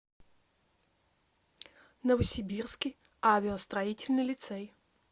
новосибирский авиастроительный лицей